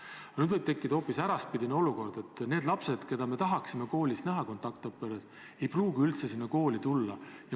Kuid nüüd võib tekkida hoopis äraspidine olukord, et need lapsed, keda me tahaksime koolis kontaktõppetöö raames näha, ei pruugi üldse kooli tulla.